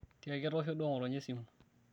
tiaki etoosho duo ngotonye esimu